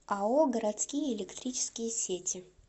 ао городские электрические сети